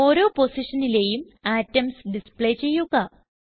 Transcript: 3ഓരോ പൊസിഷനിലേയും atoms display ചെയ്യുക